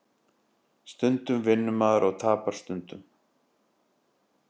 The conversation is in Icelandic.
Stundum vinnur maður og tapar stundum